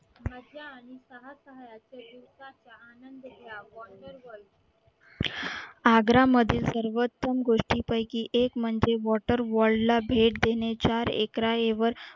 आग्रा मधील सर्वोत्तम गोष्टींपैकी एक म्हणजे water wall ला भेट देण्याच्या एकऱ्याऐवर